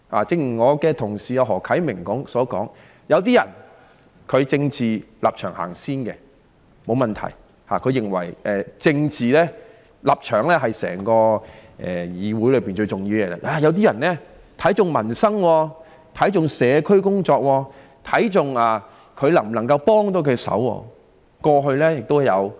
正如我的同事何啟明議員所說，有一些人以政治立場先行，他們認為政治立場是整個議會最重要的東西，這不是問題；有一些人卻重視民生、社區工作及能否幫助市民。